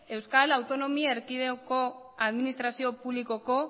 euskal autonomi erkidegoko administrazio publikoko